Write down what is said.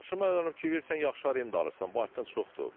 Daşınma əmlak fikri verirsən yaxşı arenda alırsan, bankdan çoxdur.